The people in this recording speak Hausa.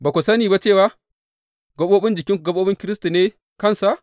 Ba ku sani ba cewa jikunanku gaɓoɓin Kiristi ne kansa?